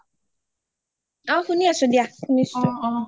অ শুনি আছো দিয়া শুনিছো